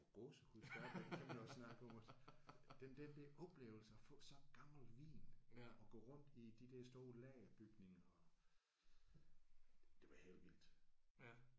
Jeg får gåsehud stadigvæk når vi begynder at snakke om det. Den der oplevelse af at få så gammel vin og gå rundt i de der store lagerbygninger. Det var helt vildt